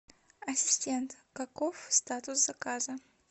ассистент каков статус заказа